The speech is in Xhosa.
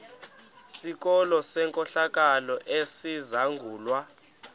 sikolo senkohlakalo esizangulwa